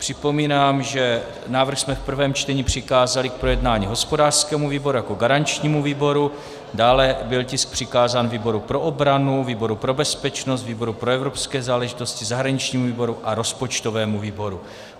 Připomínám, že návrh jsme v prvém čtení přikázali k projednání hospodářskému výboru jako garančnímu výboru, dále byl tisk přikázán výboru pro obranu, výboru pro bezpečnost, výboru pro evropské záležitosti, zahraničnímu výboru a rozpočtovému výboru.